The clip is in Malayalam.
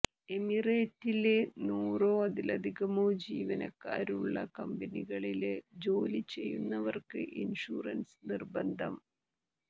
എമിറേറ്റില് നൂറോ അതിലധികമോ ജീവനക്കാരുള്ള കമ്പനികളില് ജോലിചെയ്യുന്നവര്ക്ക് ഇന്ഷുറന്സ് നിര്ബന്ധം